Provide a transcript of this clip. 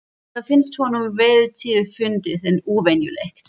Það finnst honum vel til fundið en óvenjulegt.